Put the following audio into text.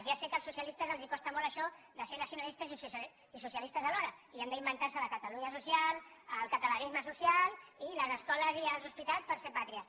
ja sé que als socialistes els costa molt això de ser nacionalistes i socialistes alhora i han d’inventar se la catalunya social el catalanisme social i les escoles i els hospitals per fer pàtria